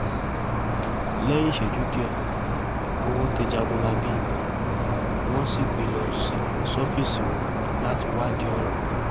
lẹ́yìn ìṣẹ́jú díẹ̀ owó tẹ̀ jágunlábí wọ́n sì gbé e lọ ṣọ́fíìsì wọn láti wádìí ọ̀rọ̀ wò